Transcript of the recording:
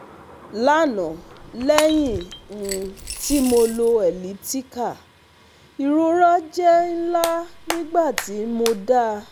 Lana lẹhin um ti mo lò elliptical irora jẹ́ nla nigbati mo dá